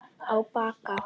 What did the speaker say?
Á Bakka